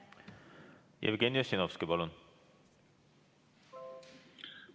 Jevgeni Ossinovski, palun!